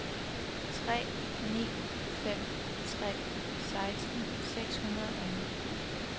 tre ni fem tre seksten seks hundrede og ni